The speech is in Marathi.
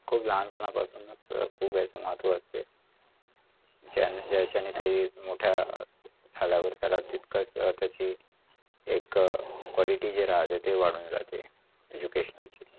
खूप लहानपणापासुनच खूप याचे महत्वाचे ज्या ज्याच्याने ते मोठ्या एक अं quality जी रहते ती वाढून जाते educational ची